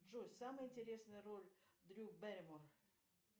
джой самая интересная роль дрю бэрримор